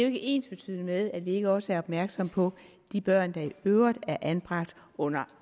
ikke ensbetydende med at vi ikke også er opmærksomme på de børn der i øvrigt er anbragt under